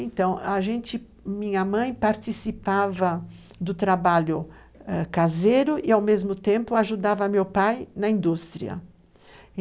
Então, a gente, minha mãe participava do trabalho caseiro ãh e ao mesmo tempo ajudava meu pai na indústria.